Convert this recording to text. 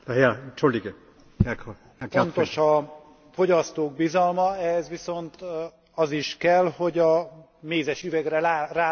Fontos a fogyasztók bizalma, ehhez viszont az is kell, hogy a mézesüvegre rá legyen írva, hogy mi is van benne.